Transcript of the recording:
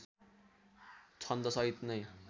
छन्द सहित नै